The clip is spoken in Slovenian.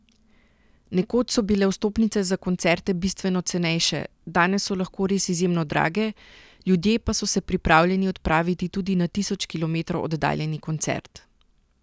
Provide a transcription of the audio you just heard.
Nekoč so bile vstopnice za koncerte bistveno cenejše, danes so lahko res izjemno drage, ljudje pa so se pripravljeni odpraviti tudi na tisoč kilometrov oddaljeni koncert.